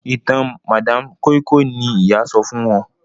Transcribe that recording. ìtàn madam koi koi ní ìyá sọfún wón.